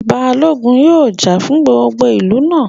Balógun yóò jà fún gbogbo ìlú náà